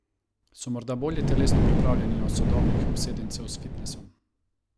So morda bolje telesno pripravljeni od sodobnih obsedencev s fitnesom?